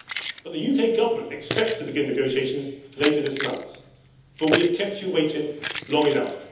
But the UK Government expects to begin negotiations later this month, for we have kept you waiting long enough.